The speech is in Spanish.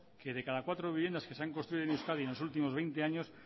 que de cada cuatro viviendas que se han construido en euskadi en los últimos veinte años